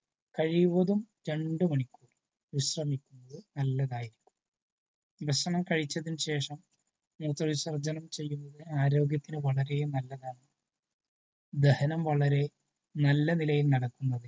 കഴിവതും രണ്ടു മണിക്കൂർ വിശ്രമിക്കുന്നത് നല്ലതായിരിക്കും. ഭക്ഷണം കഴിച്ചതിനു ശേഷം മൂത്ര വിസർജനം ചെയ്യുന്നത് ആരോഗ്യത്തിനു വളരെ നല്ലതാണു. ദഹനം വളരെ നല്ല നിലയിൽ നടക്കുന്നതിനു